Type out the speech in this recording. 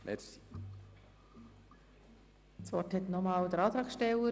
Das Wort hat nochmals der Antragsteller.